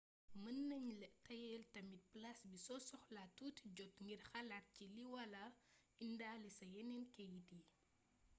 meunagnala teyel tamit plase bi so soxla touti jot ngir xalat ci lii wala indalé sa yenen keit yii